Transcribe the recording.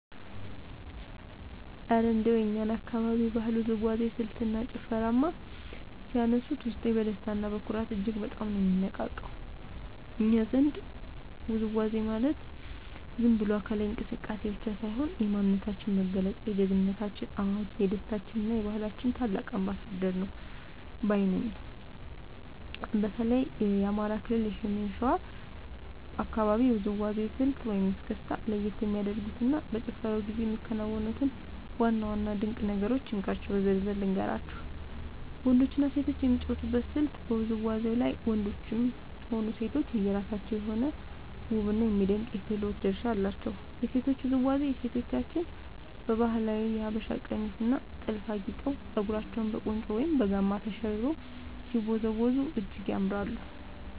እረ እንደው የእኛን አካባቢ የባህላዊ ውዝዋዜ ስልትና ጭፈርማ ሲያነሱት፣ ውስጤ በደስታና በኩራት እጅግ በጣም ነው የሚነቃቃው! እኛ ዘንድ ውዝዋዜ ማለት ዝም ብሎ አካላዊ እንቅስቃሴ ብቻ ሳይሆን፣ የማንነታችን መገለጫ፣ የጀግንነታችን አዋጅ፣ የደስታችንና የባህላችን ታላቅ አምባሳደር ነው ባይ ነኝ። በተለይ የአማራ ክልል የሰሜን ሸዋ አካባቢን የውዝዋዜ ስልት (እስክስታ) ለየት የሚያደርጉትንና በጭፈራው ጊዜ የሚከናወኑትን ዋና ዋና ድንቅ ነገሮች እንካችሁ በዝርዝር ልንገራችሁ፦ . ወንዶችና ሴቶች የሚጫወቱበት ስልት በውዝዋዜው ላይ ወንዶችም ሆኑ ሴቶች የየራሳቸው የሆነ ውብና የሚደነቅ የክህሎት ድርሻ አላቸው። የሴቶቹ ውዝዋዜ፦ ሴቶቻችን በባህላዊው የሀበሻ ቀሚስና ጥልፍ አጊጠው፣ ፀጉራቸውን በቁንጮ ወይም በጋማ ተሸርበው ሲወዝወዙ እጅግ ያምራሉ።